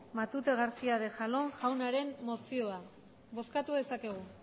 matute garcía de jalón jaunaren mozioa bozkatu dezakegu